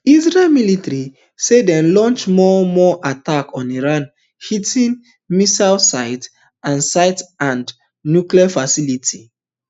israel military say den launch more more attacks on iran hitting missile sites and sites and nuclear facilities